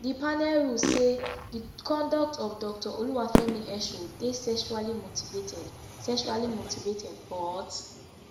di panel rule say di conduct of doctor oluwafemi esho dey sexually motivated sexually motivated but